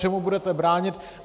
Čemu budete bránit?